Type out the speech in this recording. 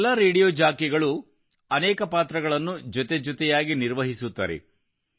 ಈ ಎಲ್ಲಾ ರೇಡಿಯೋ ಜಾಕಿಗಳು ಅನೇಕ ಪಾತ್ರಗಳನ್ನು ಜೊತೆ ಜೊತೆಯಾಗಿ ನಿರ್ವಹಿಸುತ್ತಾರೆ